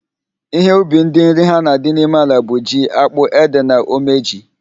Ihe ubi ndị nri ha na-adị n'ime ala bụ: ji, ákpụ́, édè na omeji.